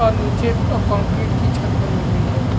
और नीचे कोंनकीट की छत बनी हुई है।